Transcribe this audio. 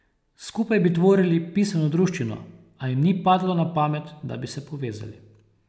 Skupaj bi tvorili pisano druščino, a jim ni padlo na pamet, da bi se povezali.